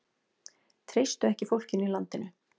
Treystu ekki fólkinu í landinu